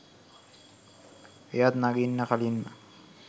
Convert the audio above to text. එයත් නඟින්න කලින්ම